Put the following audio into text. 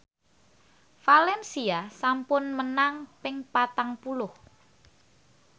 valencia sampun menang ping patang puluh